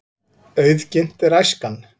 Auðginnt er æskan.